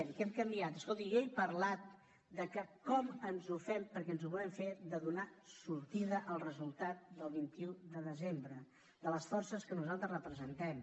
què hem canviat escolti jo he parlat de com ens ho fem perquè ens ho volem fer de donar sortida al resultat del vint un de desembre de les forces que nosaltres representem